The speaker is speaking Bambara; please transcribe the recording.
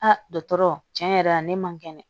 Aa dɔgɔtɔrɔ tiɲɛ yɛrɛ la ne man kɛnɛ